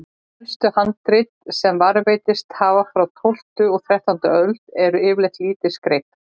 Elstu handrit sem varðveist hafa, frá tólftu og þrettándu öld, eru yfirleitt lítið skreytt.